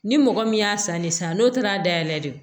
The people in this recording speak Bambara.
Ni mɔgɔ min y'a san ne san n'o taara dayɛlɛ de